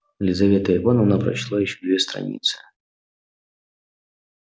лизавета ивановна прочла ещё две страницы